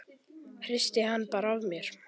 Hristi hann bara af mér.